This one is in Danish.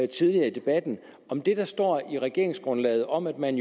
tidligere i debatten om det der står i regeringsgrundlaget om at man